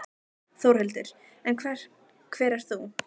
Þórhildur: En hver ert þú?